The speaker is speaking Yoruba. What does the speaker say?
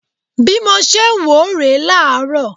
Bi mo ṣe ń wò ó rè é láàárọ̀